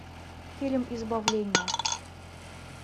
фильм избавление